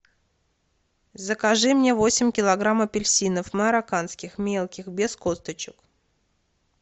закажи мне восемь килограмм апельсинов марокканских мелких без косточек